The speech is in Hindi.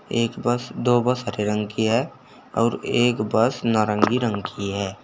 एक बस दो बस हरे रंग की है और एक बस नारंगी रंग की है।